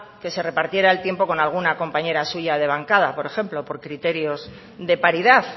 que se repartiera el tiempo con alguna compañero suya de bancada por ejemplo por criterios de paridad